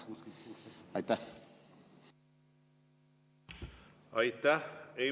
Aitäh!